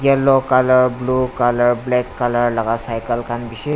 yellow colour blue colour black colour laga cycle khan bishi.